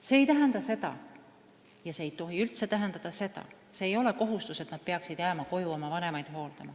See ei tähenda seda – ja see ei tohi üldse tähendada seda –, et see on kohustus jääda koju oma vanemaid hooldama.